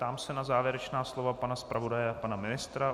Ptám se na závěrečná slova pana zpravodaje a pana ministra.